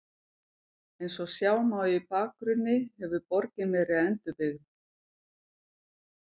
Eins og sjá má í bakgrunni hefur borgin verið endurbyggð.